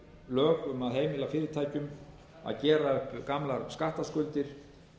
lög um að heimila fyrirtækjum að gera upp gamlar skattskuldir